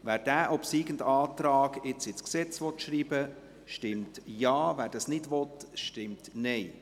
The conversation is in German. Wer den obsiegenden Antrag ins Gesetz schreiben will, stimmt Ja, wer dies nicht will, stimmt Nein.